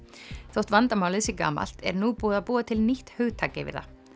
þótt vandamálið sé gamalt er nú búið að búa til nýtt hugtak yfir það